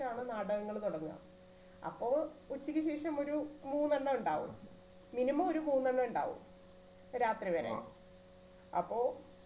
ശേഷാണ് നാടകങ്ങൾ തുടങ്ങുക അപ്പൊ ഉച്ചയ്ക്ക് ശേഷം ഒരു മൂന്നെണ്ണം ഉണ്ടാകും minimum ഒരു മൂന്നെണ്ണം ഉണ്ടാകും രാത്രി വരെ അപ്പൊ